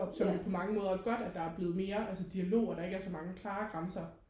og som vi på mange måder er godt at der er blevet mere altså dialog og der ikke er så mange klare grænser